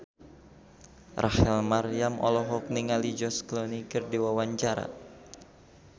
Rachel Maryam olohok ningali George Clooney keur diwawancara